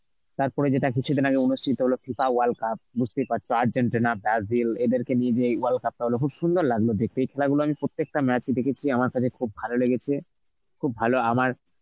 তারপরে যেটা কিছুদিন আগে অনুষ্ঠিত হলো FIFA world cup বুঝতেই পারছ আর্জেন্টিনা, ব্রাজিল এদেরকে নিয়ে যেই world cup টা হল খুব সুন্দর লাগলো দেখতে. এই খেলা গুলো আমি প্রত্যেকটা match ই দেখেছি, আমার কাছে খুব ভালো লেগেছে. খুব ভালো আমার